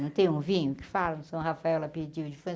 Não tem um vinho que fala, São Rafael, o aperitivo de França.